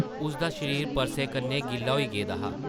उसदा शरीर परसे कन्नै गिल्ला होई गेदा हा ।